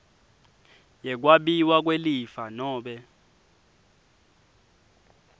yekwabiwa kwelifa nobe